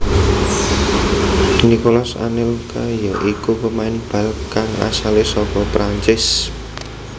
Nicolas Anelka ya iku pemain bal kang asale saka Perancis